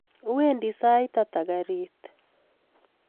Wendi saitata garit?